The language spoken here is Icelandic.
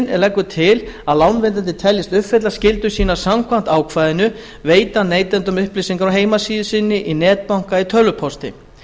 leggur nefndin til að lánveitandi teljist uppfylla skyldur sínar samkvæmt ákvæðinu veiti hann neytanda upplýsingarnar á heimasíðu sinni í netbanka eða tölvupósti